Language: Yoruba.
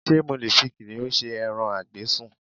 Ṣé mo lè fi kìnnìún ṣe ẹran a gbé sùn?